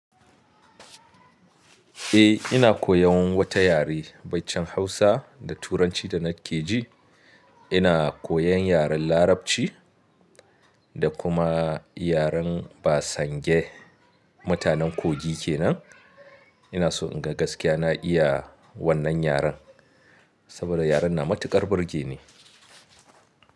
Eh ina koyan wata yare, baicin Hausa da turanci da nake ji, ina koyan yaren larabci da kuma yaren ba sange. Mutanen Kogi kenan. Ina so in ga gaskiya na iya wannan yaren saboda yaren na matukar burge ni.